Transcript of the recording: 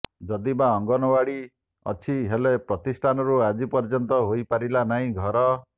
ଯଦିବା ଅଙ୍ଗନୱାଡି ଅଛି ହେଲେ ପ୍ରତିଷ୍ଠାଠାରୁ ଆଜି ପର୍ଯ୍ୟନ୍ତ ହୋଇପାରିଲା ନାହିଁ ଘର